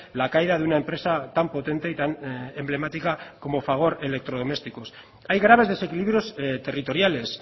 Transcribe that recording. la caída de una empresa tan potente y tan emblemática como fagor electrodomésticos hay graves desequilibrios territoriales